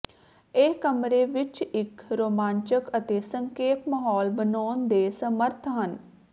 ਇਹ ਕਮਰੇ ਵਿਚ ਇਕ ਰੋਮਾਂਚਕ ਅਤੇ ਸੰਖੇਪ ਮਾਹੌਲ ਬਣਾਉਣ ਦੇ ਸਮਰੱਥ ਹੈ